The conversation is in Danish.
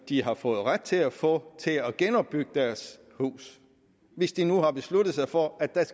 de har fået ret til at få til at genopbygge deres hus hvis de nu har besluttet sig for at der